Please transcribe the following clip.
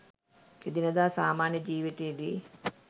එදිනෙදා සාමාන්‍ය ජීවිතයේදී